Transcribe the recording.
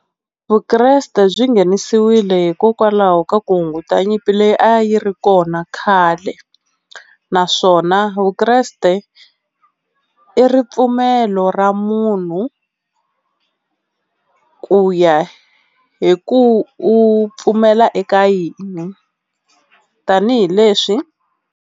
Vukreste byi nghenisiwile hikokwalaho ka ku hunguta nyimpi leyi a yi ri kona khale, naswona Vukreste i ripfumelo ra munhu ku ya hi ku u pfumela eka yini tanihileswi.